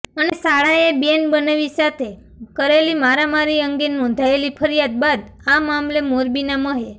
અને સાળાએ બેન બનેવી સાથે કરેલી મારામારી અંગે નોંધાયેલી ફરિયાદ બાદ આ મામલે મોરબીના મહે